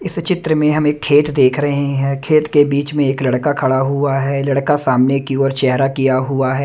इस चित्र में हम एक खेत देख रहे हैं खेत के बीच में एक लड़का खड़ा हुआ है लड़का सामने की ओर चेहरा किया हुआ है।